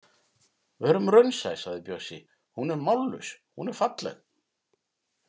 Verum raunsæ, sagði Bjössi, hún er mállaus, hún er falleg.